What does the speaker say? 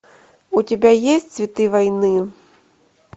у тебя есть цветы войны